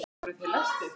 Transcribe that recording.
Voru þeir læstir.